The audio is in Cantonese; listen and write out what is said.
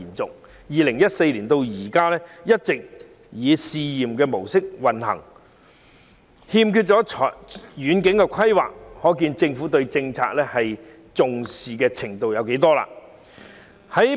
自2014年至今，一直以試驗模式運作，欠缺遠景規劃，可見政府並不十分重視這項措施。